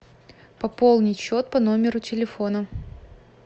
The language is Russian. пополнить счет по номеру телефона